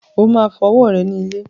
O máa fọ ọwọ́ rẹ ní ilé.